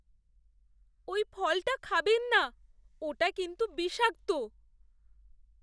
ওই ফলটা খাবেন না। ওটা কিন্তু বিষাক্ত।